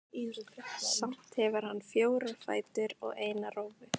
Samt hefur hann fjóra fætur og eina rófu.